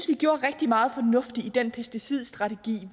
vi gjorde rigtig meget fornuftigt i den pesticidstrategi